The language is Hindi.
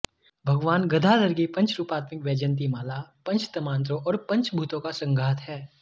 भगवान गदाधर की पंच रूपात्मिक वैजयंती माला पंचतंमात्रों और पंचभूतों का संघात है